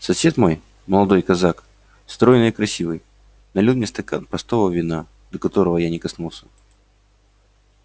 сосед мой молодой казак стройный и красивый налил мне стакан простого вина до которого я не коснулся